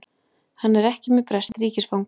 Hann er ekki með breskt ríkisfang